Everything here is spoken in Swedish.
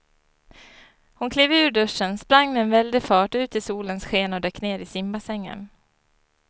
Hon klev ur duschen, sprang med väldig fart ut i solens sken och dök ner i simbassängen.